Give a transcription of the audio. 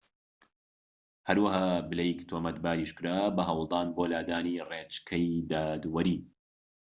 هەرەوەها بلەیک تۆمەتباریش کرا بە هەوڵدان بۆ لادانی ڕێچکەی دادوەری